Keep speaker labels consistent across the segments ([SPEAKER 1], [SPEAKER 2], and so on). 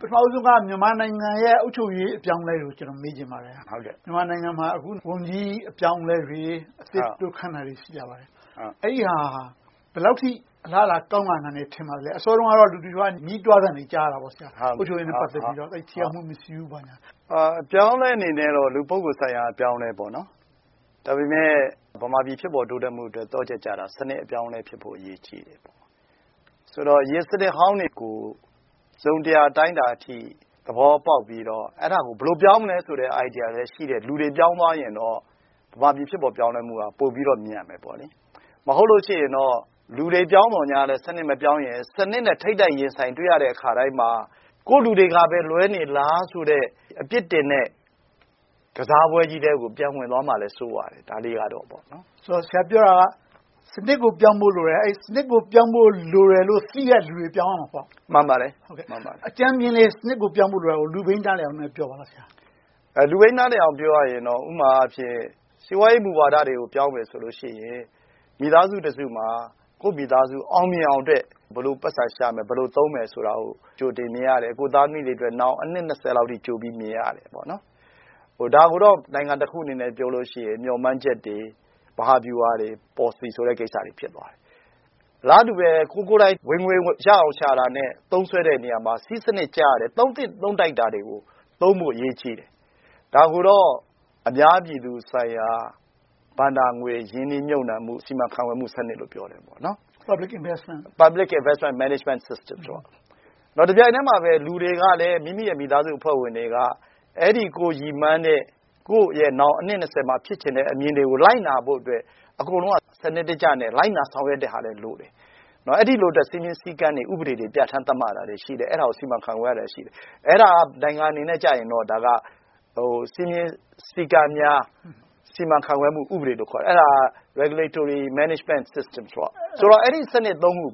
[SPEAKER 1] ပထမဦးဆုံးက မြန်မာနိုင်ငံရဲ့ အုပ်ချုပ်ရေး အပြောင်းအလဲတွေကို မေးချင်ပါတယ်။ မြန်မာနိုင်ငံမှာ အခု ဝန်ကြီးအပြောင်းအလဲတွေ၊ အသစ်ခန့်တာတွေ ရှိကြပါတယ်။ အဲဒီဟာ ဘယ်လောက်အထိ အလားအလာ ကောင်းလာမယ် ထင်ပါသလဲ။ အစောတုန်းကတော့ လူတချို့ရဲ့ ညည်းတွာသံတွေကို ကြားရတယ်။ အုပ်ချုပ်ရေးနဲ့ ပတ်သက်လို့ ထိရောက်မှု မရှိဘူးဆိုပြီပေါ့။
[SPEAKER 2] အပြောင်းအလဲအနေနဲ့တော့ လူပုဂ္ဂိုလ်ဆိုင်ရာ အပြောင်းအလဲပေါ့။ ဒါပေမဲ့ ဗမာပြည် ဖြစ်ပေါ်တိုးတက်မှုအတွက် သော့ချက်ကြတာ စနစ်အပြောင်းအလဲဖြစ်ဖို့ အရေးကြီးတယ်။ ဆိုတော့ အရင်စနစ်ဟောင်းတွေကို တစုံတရာ အတိုင်းအတာအထိ သဘောပေါက်ပြီးတော့ အဲဒါကို ဘယ်လို ပြောင်းမလဲဆိုတဲ့ ideas လည်းရှိတဲ့ လူတွေ ပြောင်းသွားရင်တော့ ဗမာပြည် ဖြစ်ပေါ်ပြောင်းလဲမှုက ပိုပြီးတော့မြန်မယ်။ မဟုတ်လို့ရှိရင်တော့ လူတွေပြောင်းသော်ငြားလဲ စနစ်မပြောင်းရင် စနစ်နဲ့ ထိပ်တိုက်ရင်ဆိုင်တွေ့ရတဲ့အခါတိုင်းမှာ ကိုယ့်လူတွေကပဲ လွဲနေသလားဆိုတဲ့ အပြစ်တင်တဲ့ ကစားပွဲကြီးထဲကို ပြန်ဝင်သွားမှာကိုလည်း စိုးရတယ်။
[SPEAKER 1] ဆရာပြောတာက စနစ်ကို ပြောင်းဖို့လိုတယ်။ စနစ်ကိုပြောင်းဖို့ သိတဲ့လူတွေ ပြောင်းရမှာပေ့ါ။
[SPEAKER 2] မှန်ပါတယ်။
[SPEAKER 1] အကြမ်းမျဉ်းလေး စနစ်ကို ပြောင်းဖို့လိုတာကို လူပြိန်းနားလည်အောင် ပြောပြပါ။
[SPEAKER 2] လူပြိန်း နားလည်အောင် ပြောရရင်တော့ ဥပမာ စီးပွားရေးမူဝါဒတွေကို ပြောင်းမယ်ဆိုလို့ရှိရင် မိသားစုတစုမှာ ကိုယ့်မိသားစု အောင်မြင်အောင်အတွက် ဘယ်လို ပိုက်ဆံရှာမယ်။ ဘယ်လို သုံးမယ်ဆိုတာကို ကြိုတင်မြင်ရတယ်။ ကိုယ့်သားသမီးတွေအတွက် နောင်အနှစ် လောက်အထိ ကြိုပြီးမြင်ရတယ်။ ဒါကိုတော့ နိုင်ငံတခုအနေနဲ့ ပြောလို့ရှိရင် မျှော်မှန်းချက်တွေ၊ မဟာဗျူဟာတွေ၊ ပေါ်လစီကိစ္စတွေ ဖြစ်သွားတယ်။ အလားတူပဲ ကိုယ်ကိုယ်တိုင် ဝင်ငွေရအောင်ရှာတာနဲ့ သုံးစွဲတဲ့နေရာမှာ စည်းစနစ်ကျရတယ်။ သုံးသင့်သုံးထိုက်တာတွေကို သုံးဖို့အရေးကြီးတယ်။ ဒါကိုတော့ အများပြည်သူဆိုင်ရာ ဘဏ္ဍာငွေ ရင်းနှီးမြုပ်နံှမှု၊ စီမံခန့်ခွဲမှုစနစ်လို့ ပြောကြတယ် - Public Investment Management System. တပြိုင်တည်းမှာပဲ လူတွေက မိမိရဲ့ မိသားစုအဖွဲ့ဝင်တွေက အဲဒီ ကိုယ်ရည်မှန်းတဲ့ ကိုယ့်ရဲ့နောင် အနှစ် မှာ ဖြစ်ချင်တဲ့ အမြင်တွေကို လိုက်နာဖို့အတွက် အကုန်လုံးက စနစ်တကျနဲ့ လိုက်နာဆောင်ရွက်တဲ့ဟာလည်း လိုတယ်။ အဲဒီလို စည်းမျဉ်းစည်းကမ်းတွေ၊ ဥပဒေတွေ ပြဌာန်းသတ်မှတ်ရတာလည်း ရှိတယ်။ အဲဒါကို စီမံခန့်ခွဲရတာလည်း ရှိတယ်။ အဲဒါက နိုင်ငံအနေနဲ့ဆိုရင် စည်းမျဉ်းစည်းကမ်းများ စီမံခန့်ခွဲမှု ဥပဒေ - Regulatory Management System - အဲဒီ စနစ် ခု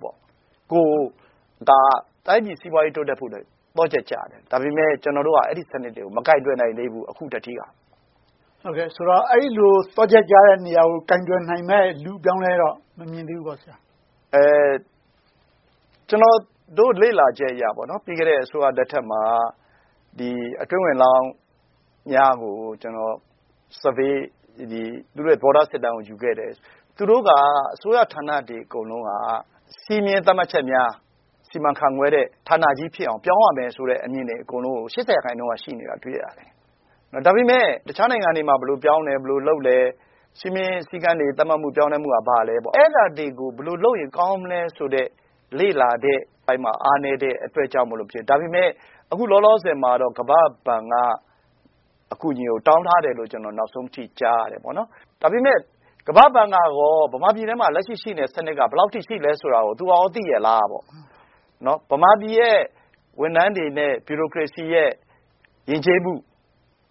[SPEAKER 2] က တိုင်းပြည်စီးပွားရေး တိုးတက်ဖို့အတွက် သော့ချက်ကြတယ်။ ဒါပေမဲ့ ကျနော်တို့က အဲဒီစနစ်တွေကို အခုထက်ထိ မကိုင်တွယ်နိုင်သေးဘူး။
[SPEAKER 1] ဆိုတော့ အဲဒီလို သော့ချက်ကြတဲ့ နေရာကို ကိုင်တွယ်နိုင်မယ့် လူအပြောင်းအလဲတော့ မမြင်သေးဘူးပေါ့။
[SPEAKER 2] ကျနော့်တို့ လေ့လာချက်အရတော့ ပြီးခဲ့တဲ့ အစိုးရလက်ထက်မှာ အတွင်းဝန်လောင်များကို Survey သူတို့ရဲ့ သဘောထားစစ်တမ်းကို ယူခဲ့တယ်။ သူတို့က အစိုးရဌာနတွေ အကုန်လုံးက စည်းမျဉ်းသတ်မှတ်ချက်များ စီမံခန့်ခွဲတဲ့ ဌာနကြီးဖြစ်အောင် ပြောင်းရမယ်ဆိုတဲ့ အမြင်တွေ အကုန်လုံးကို ရာခိုင်နှုန်းက ရှိနေတာကို တွေ့ရတယ်။ ဒါပေမဲ့ တခြားနိုင်ငံတွေမှာ ဘယ်လိုပြောင်းတယ်၊ လုပ်တယ်။ စည်းမျဉ်းစည်းကမ်းတွေ သတ်မှတ်မှုတွေက ဘာလဲ။ အဲဒါတွေကို ဘယ်လိုလုပ်ရင် ကောင်းမလဲဆိုတဲ့ လေ့လာတဲ့အပိုင်းမှာ အားနည်းတဲ့အတွက်ကြောင့်ဖြစ်မယ်။ ဒါပေမဲ့ အခုလောလောဆယ်မှာတော့ ကမ္ဘာ့ဘဏ်က အကူအညီကို တောင်းထားတယ်လို့ ကျနော် နောက်ဆုံးအနေနဲ့ ကြားထားတယ်။ ဒါပေမဲ့ ကမ္ဘာ့ဘဏ်ကရော ဗမာပြည်ထဲမှာ လက်ရှိ ရှိနေတဲ့စနစ်က ဘယ်လောက်အထိ ရှိသလဲဆိုတာကို သူကရော သိရဲ့လားပေါ့။ ဗမာပြည်ရဲ့ ဝန်ထမ်းတွေနဲ့ ဗျူကရေစီရဲ့ ယဉ်ကျေးမှု၊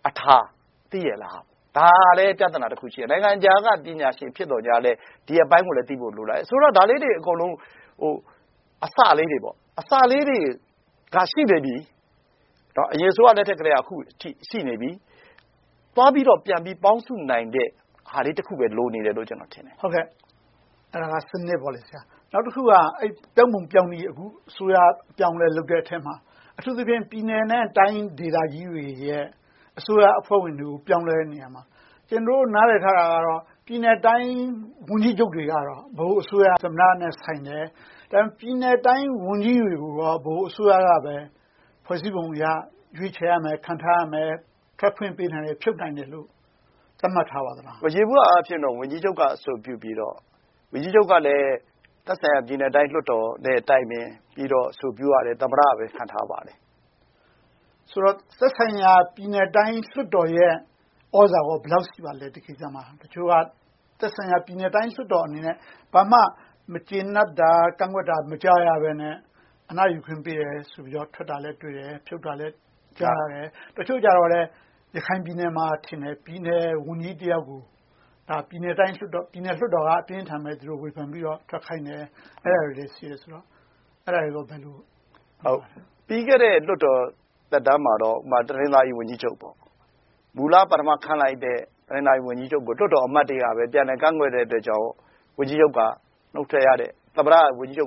[SPEAKER 2] အထာတွေကို သိရဲ့လား။ ဒါကလဲ ပြဿနာတခု ဖြစ်တယ်။ နိုင်ငံခြားက ပညာရှင် ဖြစ်သော်ငြားလဲ ဒီအပိုင်းကိုလည်း သိဖို့ လိုလာတယ်။ ဆိုတော့ ဒါလေးတွေ အကုန်လုံး အစလေးတွေက ရှိနေပြီ - အရင်အစိုးရလက်ထက်ကနေ အခုထိ ရှိနေပြီ။ သွားပြီးတော့ ပြန်ပြီးပေါင်းစုနိုင်တဲ့ဟာလေးတခုပဲ လိုနေတယ်လို့ ကျနော် ထင်တယ်။
[SPEAKER 1] အဲဒါက စနစ်ပေါ့။ နောက်တခုက ပြောင်းပုံပြောင်းနည်း - အစိုးရ အပြောင်းအလဲ လုပ်တဲ့အထဲမှာ အထူးသဖြင့် ပြည်နယ်နဲ့ တိုင်းဒေသကြီးတွေရဲ့ အစိုးရအဖွဲ့ဝင်တွေကို ပြောင်းလဲတဲ့နေရာမှာ ကျနော်တို့ နားလည်ထားတာကတော့ ပြည်နယ်နဲ့တိုင်း ဝန်ကြီးချုပ်တွေကတော့ ဗဟိုအစိုးရ သမ္မတနဲ့ဆိုင်တယ်။ ပြည်နယ်နဲ့တိုင်း ဝန်ကြီးတွေကိုရော ဗဟိုအစိုးရကပဲ ဖွဲ့စည်းပုံအရ ရွေးချယ်ရမယ်။ ခန့်ထားရမယ်။ ထွက်ခွင့်ပေးနိုင်တယ်။ ဖြုတ်နိုင်တယ်လို့ သတ်မှတ်ထားပါသလား။
[SPEAKER 2] ယေဘုယျအားဖြင့်တော့ ဝန်ကြီးချုပ်က အဆိုပြုပြီးတော့ ဝန်ကြီးချုပ်ကလည်း သက်ဆိုင်ရာ ပြည်နယ်တိုင်းလွှတ်တော်နဲ့ တိုင်ပင်ပြီးတော့ အဆိုပြုရတယ်။ သမ္မတက ခန့်အပ်ပါတယ်။
[SPEAKER 1] ဆိုတော့ သက်ဆိုင်ရာ ပြည်နယ်တိုင်း လွှတ်တော်ရဲ့ ဒီကိစ္စအပေါ် သြဇာ ဘယ်လောက်ရှိပါလဲ။ တချို့က သက်ဆိုင်ရာ ပြည်နယ်တိုင်း လွှတ်တော်အနေနဲ့ ဘာမှ မကျေနပ်တာ၊ ကန့်ကွက်တာ မကြားရဘဲနဲ့ အနားယူခွင့် ပေးတယ်ဆိုပြီးတော့ ထွက်တာလည်းတွေ့တယ်။ ဖြုတ်တာလည်း ကြားရတယ်။ တချို့ကြတော့လဲ ရခိုင်ပြည်နယ်မှာထင်တယ် ပြည်နယ်ဝန်ကြီးတယောက်ကို ပြည်နယ်လွှတ်တော်က အပြင်းအထန်ပဲ ဝေဖန်ပြီးတော့ ထွက်ခိုင်းတယ်။ အဲဒါတွေလည်း ရှိတယ်ဆိုတော့။
[SPEAKER 2] ပြီးခဲ့တဲ့ လွှတ်တော်သက်တမ်းမှာတော့ တနင်္သာရီဝန်ကြီးချုပ် မူလပထမခန့်လိုက်တဲ့ တနင်္သာရီဝန်ကြီးချုပ်ကို လွှတ်တော်အမတ်တွေက ပြန်လည်ကန့်ကွက်တဲ့အတွက်ကြောင့် သမ္မတက ဝန်ကြီးချုပ်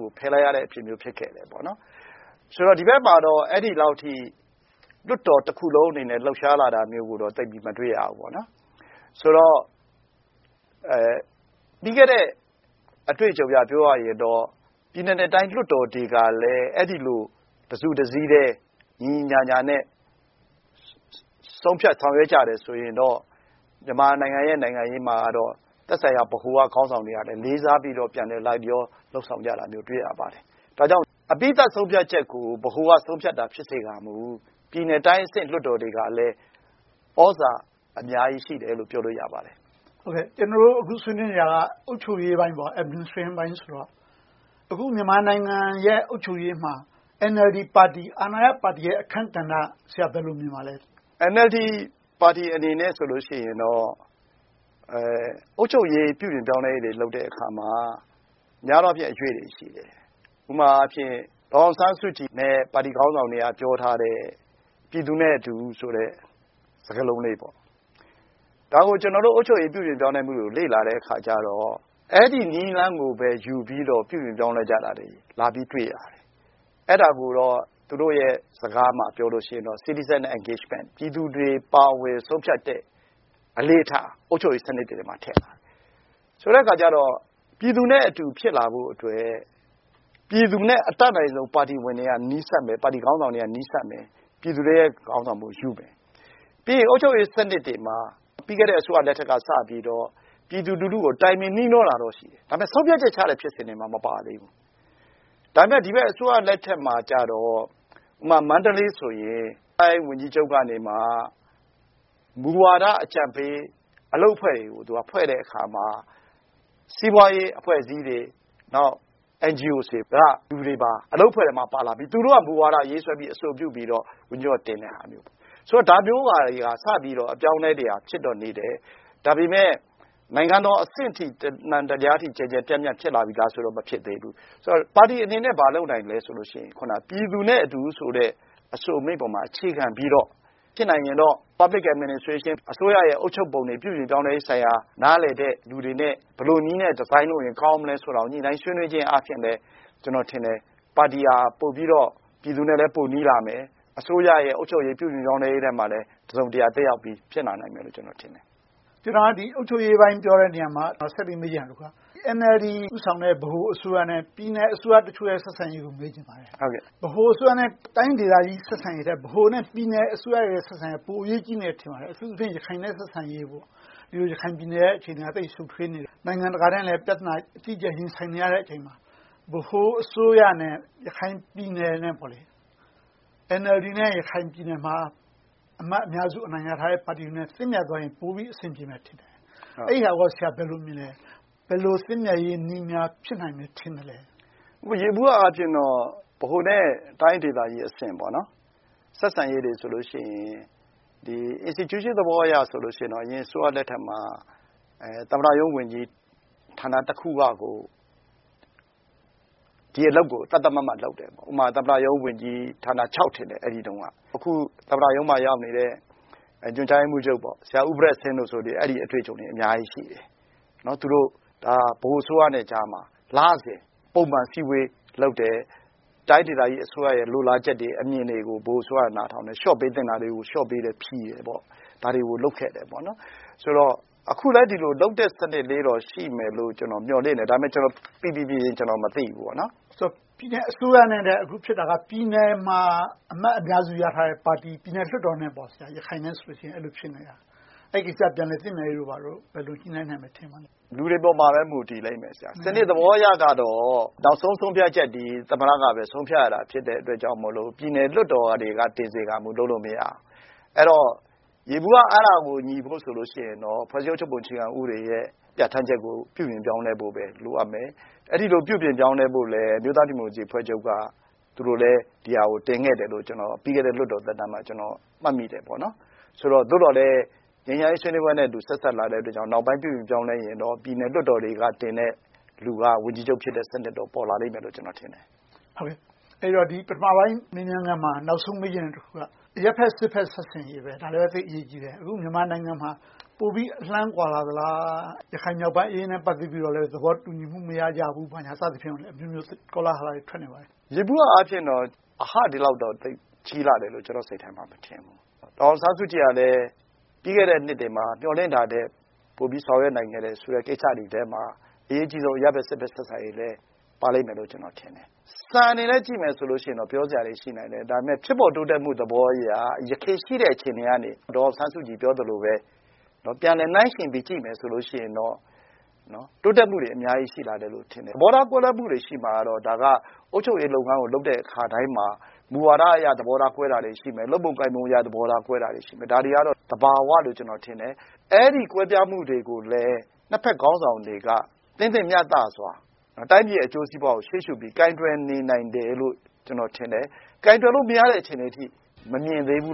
[SPEAKER 2] ကို ဖယ်လိုက်ရတာမျိုး ဖြစ်ခဲ့တယ်။ ဆိုတော့ ဒီဘက်မှာတော့ အဲဒီလောက်အထိ လွှတ်တော်တခုလုံးအနေနဲ့ လှုပ်ရှားလာတာမျိုးကို မတွေ့ရဘူး။ ဆိုတော့ ပြီးခဲ့တဲ့ အတွေ့အကြုံအရ ပြောရရင်တော့ ပြည်နယ်နဲ့တိုင်း လွှတ်တော်တွေကလည်း အဲဒီလို တစုတစည်းတည်း ညီညီညာညာနဲ့ ဆုံးဖြတ်ဆောင်ရွက်ကြရင်တော့ မြန်မာနိုင်ငံရဲ့ နိုင်ငံရေးမှာတော့ သက်ဆိုင်ရာ ဗဟိုက ခေါင်းဆောင်တွေကလည်း လေးစားပြီးတော့ ပြန်လည်းလိုက်လျော လုပ်ဆောင်ကြတာကို တွေ့ရပါတယ်။ ဒါကြောင့် အပြီသတ်ဆုံးဖြတ်ချက်ကို ဗဟိုက ဆုံးဖြတ်တာ ဖြစ်စေကာမူ ပြည်နယ်တိုင်းအဆင့် လွှတ်တော်တွေကလည်း သြဇာအများကြီးရှိတယ်လို့ ပြောလို့ရပါတယ်။
[SPEAKER 1] ကျနော်တို့ အခု ဆွေးနွေးနေတာ အုပ်ချုပ်ရေးပိုင်း Administration ဆိုတော့ အခု မြန်မာနိုင်ငံရဲ့ အုပ်ချုပ်ရေးမှာ NLD ပါတီ အာဏာရပါတီ အခန်းကဏ္ဍကို ဆရာ ဘယ်လို မြင်ပါသလဲ။
[SPEAKER 2] NLD ပါတီအနေနဲ့ဆိုရင်တော့ အုပ်ချုပ်ရေး၊ ပြုပြင်ပြောင်းလဲရေးတွေ လုပ်တဲ့အခါမှာ များသောအားဖြင့် အရွေ့တွေရှိတယ်။ ဥပမာအားဖြင့် ဒေါ်အောင်ဆန်းစုကြည်နဲ့ ပါတီခေါင်းဆောင်တွေက ပြောထားတဲ့ “ပြည်သူနဲ့အတူ” ဆိုတဲ့ စကားလုံးလေး။ ဒါကို ကျနော်တို့ အုပ်ချုပ်ရေး ပြုပြင်ပြောင်းလဲမှုကို လေ့လာတဲ့အခါကြတော့ အဲဒီနည်းလမ်းကိုပဲ ယူပြီးတော့ ပြုပြင်ပြောင်းလဲကြတာတွေကို လာပြီးတွေ့ရတယ်။ အဲဒါကိုတော့ သူတို့ရဲ့စကားမှာ ပြောလို့ရှိရင်တော့ Citizen Engagement ပြည်သူတွေပါဝင် ဆုံးဖြတ်တဲ့ အလေ့အထ၊ အုပ်ချုပ်ရေးစနစ်တွေထဲမှာ ထည့်ထားတယ်။ ဆိုတဲ့အခါကြတော့ ပြည်သူနဲ့အတူ ဖြစ်လာဖို့အတွက် ပြည်သူနဲ့ အတတ်နိုင်ဆုံး ပါတီဝင်တွေက နီးစပ်မယ်။ ပါတီခေါင်းဆောင်တွေက နီးစပ်မယ်။ ပြည်သူတွေရဲ့ ခေါင်းဆောင်မှုယူမယ်။ ပြီးတော့ အုပ်ချုပ်ရေးစနစ်တွေမှာ ပြီးခဲ့တဲ့ အစိုးရလက်ထက်ကစပြီးတော့ ပြည်သူလူထုကို တိုင်ပင်နှီးနှောတာတော့ ရှိတယ်။ ဒါပေမဲ့ ဆုံးဖြတ်ချက်ချတဲ့ ဖြစ်စဉ်တွေမှာ မပါသေးဘူး။ ဒါပေမဲ့ ဒီဘက် အစိုးရလက်ထက်မှာကြတော့ ဥပမာ မန္တလေးဆိုရင် မန္တလေးဝန်ကြီးချုပ်ကနေ မူဝါဒအကြံပေး အလုပ်အဖွဲ့တွေကို ဖွဲ့တဲ့အခါမှာ စီးပွားရေးအဖွဲ့အစည်းတွေ၊ NGO တွေက လူတွေပါ အလုပ်အဖွဲ့အထဲမှာ ပါလာပြီး သူတို့က မူဝါဒ ရေးဆွဲပြီး အဆိုပြုပြီးတော့ ဝန်ကြီးချုပ်က တင်တဲ့ဟာမျိုး။ ဆိုတော့ ဒါမျိုးဟာတွေက စပြီးတော့ အပြောင်းအလဲတွေက ဖြစ်တော့နေတယ်။ ဒါပေမဲ့ နိုင်ငံတော်အဆင့်အထိ ကျယ်ကျယ်ပြန့်ပြန့် ဖြစ်လာပြီလားဆိုတော့ မဖြစ်သေးဘူး။ ပါတီအနေနဲ့ ဘာလုပ်နိုင်သလဲ ဆိုလို့ရှိရင် အခုန “ပြည်သူနဲ့အတူ” ဆိုတဲ့ အဆိုအမိန့်ပေါ်မှာ အခြေခံပြီးတော့ ဖြစ်နိုင်ရင်တော့ Public Administration အစိုးရရဲ့ အုပ်ချုပ်ပုံတွေ ပြုပြင်ပြောင်းလဲရေးဆိုင်ရာ နားလည်တဲ့လူတွေနဲ့ ဘယ်လိုနည်းနဲ့ Design လုပ်ရင် ကောင်းမလဲဆိုတာကို ညှိနှိုင်းဆွေးနွေးခြင်းအားဖြင့်လည်း ကျနော်ထင်တယ် ပါတီဟာ ပိုပြီးတော့လည်း ပြည်သူနဲ့ ပိုနီးလာမယ်။ အစိုးရရဲ့ အုပ်ချုပ်ရေး၊ ပြုပြင်ပြောင်းလဲရေးမှာလည်း တစုံတရာ သက်ရောက်ပြီး ဖြစ်လာနိုင်မယ်လို့ ထင်တယ်။
[SPEAKER 1] အုပ်ချုပ်ရေးပိုင်း ပြောတဲ့နေရာမှာ ဆက်ပြီးမေးချင်တာက NLD ဦးဆောင်တဲ့ ဗဟိုအစိုးရနဲ့ ပြည်နယ်အစိုးရတချို့ရဲ့ ဆက်ဆံရေးကို မေးချင်ပါတယ်။ ဗဟိုအစိုးရထက် တိုင်းဒေသကြီး ဆက်ဆံရေးထက်၊ ဗဟိုနဲ့ ပြည်နယ်အစိုးရတွေရဲ့ ဆက်ဆံရေးက ပိုအရေးကြီးတယ်လို့ ထင်ပါတယ်။ အထူးသဖြင့် ရခိုင်နဲ့ ဆက်ဆံရေး - ရခိုင်ပြည်နယ်ရဲ့ အခြေအနေက သိပ်ရှုပ်ထွေးနေတယ်။ နိုင်ငံတကာနဲ့လည်း ပြဿနာ အကြီးအကျယ် ရင်ဆိုင်နေရတဲ့အချိန်မှာ ဗဟိုအစိုးရနဲ့ ရခိုင်ပြည်နယ်နဲ့၊ NLD နဲ့ ရခိုင်ပြည်နယ်မှာ အမတ် အများစု အနိုင်ရထားတဲ့ ပါတီတွေနဲ့ သင့်မြတ်သွားရင် ပိုပြီးအဆင်ပြေမယ်ထင်တယ်။ အဲဒါကို ဘယ်လို မြင်လဲ။ ဘယ်လို သင့်မြတ်ရေးနည်းများ ဖြစ်နိုင်မယ် ထင်သလဲ။
[SPEAKER 2] ယေဘုယျအားဖြင့်တော့ ဗဟိုနဲ့ တိုင်းဒေသကြီးအဆင့် ဆက်ဆံရေးတွေဆိုလို့ရှိရင် Institution သဘောအရဆိုရင် အရင်အစိုးရလက်ထက်မှာ သမ္မတရုံးဝန်ကြီးဌာနတခုကကို ဒီအလုပ်ကို သတ်သတ်မှတ်မှတ်လုပ်တယ်။ ဥပမာ သမ္မတရုံးဝန်ကြီး ဌာန ထင်တယ် အဲဒီတုန်းက။ အခု သမ္မတရုံးမှာ ရောက်နေတဲ့ ညွှန်ကြားရေးမှူးချုပ် ဆရာဘရက်စ်စင်တို့ဆို အဲဒီ အတွေ့အကြုံတွေ အများကြီးရှိတယ်။ သူတို့ ဗဟိုအစိုးရနဲ့ကြားမှာ လစဉ် ပုံမှန်အစည်းအဝေးလုပ်တယ်။ တိုင်းဒေသကြီး အစိုးရရဲ့ လိုလားချက်တွေ အမြင်တွေကို ဗဟိုအစိုးရက နားထောင်တယ်။ လျှော့ပေးသင့်တာတွေကို လျှော့ပေးတယ်။ ဖြေလျှော့တယ်။ ဒါတွေကို လုပ်ခဲ့တယ်။ ဆိုတော့ အခုလဲ ဒီလိုလုပ်တဲ့ စနစ်လေးတော့ ရှိမယ်လို့တော့ ကျနော် မျှော်လင့်တယ်။ ဒါပေမဲ့ ကျနော် ပီပီပြင်ပြင် မသိဘူး။
[SPEAKER 1] ပြည်နယ်အစိုးရနဲ့ အခုဖြစ်တာက ပြည်နယ်မှာ အမတ်အများစုရထားတဲ့ ပါတီ၊ ပြည်နယ်လွှတ်တော်နဲ့ ရခိုင်နဲ့ဆို အဲဒီလို ဖြစ်နေတာ။ အဲဒီကိစ္စ ပြန်လည်သင့်မြတ်ရေးတို့ ဘာတို့ ဘယ်လို ညှိနှိုင်းနိုင်မယ် ထင်ပါလဲ။
[SPEAKER 2] လူတွေပေါ်မှာပဲ မူတည်လိမ့်မယ်။ စနစ်သဘောအရတော့ နောက်ဆုံး ဆုံးဖြတ်ချက်တွေ သမ္မတကပဲ ဆုံးဖြတ်ရတာ ဖြစ်တဲ့အတွက်ကြောင့်မို့ ပြည်နယ်လွှတ်တော်တွေက တင်စေကမူ လုပ်လို့မရဘူး။ အဲဒီတော့ ယေဘုယျ အဲဒါကို ညီဖို့ဆိုလို့ရှိရင်တော့ ဖွဲ့စည်းအုပ်ချုပ်ပုံ အခြေခံဥပဒေရဲ့ ပြဌာန်းချက်ကို ပြုပြင်ပြောင်းလဲဖို့ပဲ လိုအပ်မယ်။ အဲဒီလို ပြုပြင်ပြောင်းလဲဖို့လည်း အမျိုးသားဒီမိုကရေစီအဖွဲ့ချုပ်က သူတို့လည်း ဒီဟာကို တင်ခဲ့တယ်လို့ ပြီးခဲ့တဲ့ လွှတ်တော်သက်တမ်းမှာ တင်ခဲ့တယ်လို့ ကျနော် မှတ်မိတယ်။ ဆိုတော့ သို့သော်လဲ ငြိမ်းချမ်းရေး ဆွေးနွေးပွဲနဲ့ ဆက်စပ်လာတဲ့အတွက်ကြောင့် နောက်ဆုံး ပြုပြင်ပြောင်းလဲရင်တော့ ပြည်နယ်လွှတ်တော်တွေကတင်တဲ့ လူက ဝန်ကြီးချုပ်ဖြစ်တဲ့ စနစ်တော့ ပေါ်လာလိမ့်မယ်လို့ ကျနော် ထင်တယ်။
[SPEAKER 1] အဲဒီတော့ ပထမပိုင်း မေးမြန်ခန်းမှာ နောက်ဆုံး မေးချင်တဲ့တခုက အရပ်ဘက်-စစ်ဘက် ဆက်ဆံရေး။ ဒါလဲပဲ သိပ်အရေးကြီးတယ်။ အခု မြန်မာနိုင်ငံမှာ ပိုပြီးအလှမ်းကွာလာသလား။ ရခိုင်ပြည်နယ် မြောက်ပိုင်းအရေးနဲ့ ပတ်သက်ပြီးတော့ သဘောတူညီမှု မရကြဘူး။ ဘာညာ စသဖြင့် အမျိုးမျိုး ကောလာဟလတွေ ထွက်နေကြပါတယ်။
[SPEAKER 2] ယေဘုယျအားဖြင်တော့ အဟ ဒီလောက်တော့ သိပ်ကြီးလာတယ်လို့တော့ ကျနော့်စိတ်ထဲမှာ သိပ်မထင်ဘူး။ ဒေါ်အောင်ဆန်းစုကြည်ကလည်း ပြီးခဲ့တဲ့နှစ်တွေမှာ မျှော်လင့်တာထက် ပိုပြီးဆောင်ရွက်နိုင်ခဲ့တယ်ဆိုတဲ့ ကိစ္စတွေထဲမှာ အရေးအကြီးဆုံး အရပ်ဘက်-စစ်ဘက် ဆက်ဆံရေးလည်း ပါလိမ့်မယ်လို့ ကျနော်ထင်တယ်။ စံအနေနဲ့ ကြည့်မယ်ဆိုရင်တော့ ပြောစရာတွေ ရှိနိုင်တယ်။ ဒါပေမဲ့ ဖြစ်ပေါ်တိုးတက်မှု သဘောအရ ယခင်ရှိတဲ့ အခြေအနေကနေ ဒေါ်အောင်ဆန်းစုကြည် ပြောသလိုပဲ ပြန်လည်နှိုင်းယှဉ်ပြီး ကြည့်မယ်ဆိုရင်တော့ တိုးတက်မှုတွေ အများကြီး ရှိလာတယ်လို့တော့ ထင်တယ်။ သဘောထား ကွဲလွဲမှုတွေ ရှိမှာတော့ ဒါက အုပ်ချုပ်ရေးလုပ်ငန်းကို လုပ်တဲ့အခါတိုင်းမှာ မူဝါဒအရ သဘောထားကွဲတာတွေရှိမယ်။ လုပ်ပုံကိုင်ပုံအရ သဘောထားကွဲတာတွေ ရှိမယ်။ ဒါတွေကတော့ သဘာဝအရလို့ ကျနော် ထင်တယ်။ အဲဒီ ကွဲပြားမှုတွေကိုလည်း နှစ်ဘက်ခေါင်းဆောင်တွေက သင့်တင့်မျှတစွာ တိုင်းပြည်ရဲ့ အကျိုးစီးပွားကို ရှေ့ရှုပြီး ကိုင်တွယ်နေနိုင်တယ်လို့ ကျနော်ထင်တယ်။ ကိုင်တွယ်လို့မရတဲ့ အခြေအနေအထိ မမြင်သေးဘူး